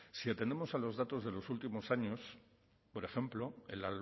si atendemos a los datos de los últimos años por ejemplo el